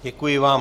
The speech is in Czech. Děkuji vám.